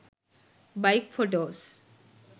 bike photos